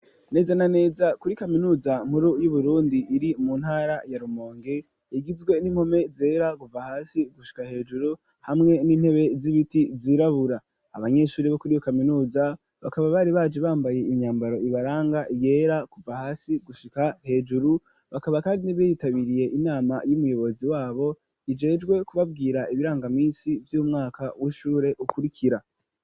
Neza na neza kuri kaminuza nkuru y'Uburundi iri mu ntara ya Rumonge igizwe n'impome zera kuva hasi gushika hejuru hamwe n'intebe z'ibiti zirabura, abanyeshuri bo kuri iyo kaminuza bakaba bari baje bambaye imyambaro ibaranga, iyera kuva hasi gushika hejuru bakaba kandi bitabiriye inama y'umuyobozi wabo ajejwe kubabwira ibirangaminsi vy'umwaka w'ishure ukurikira.